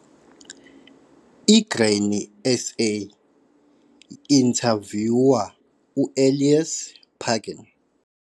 I-Grain SA i-nthavyuwa, u-Elias Pangane